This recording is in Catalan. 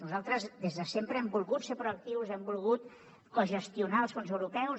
nosaltres des de sempre hem volgut ser proactius hem volgut cogestionar els fons europeus